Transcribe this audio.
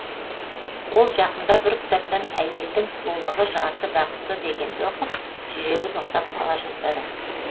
ол жақында бір кітаптан әйелдің сұлулығы жарты бақыты дегенді оқып жүрегі тоқтап қала жаздады